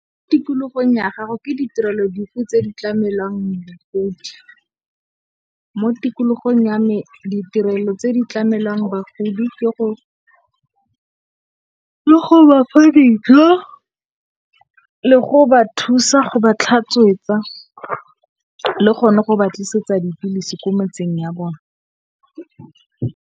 Mo tikologong ya gago ke ditirelo dife tse di tlamelwang bagodi? Mo tikologong ya me ditirelo tse di tlamelwang bagodi ke go bafa dijo, le go ba thusa go ba tlhatswetsa le gone go ba tlisetsa dipilisi ko metseng ya bone.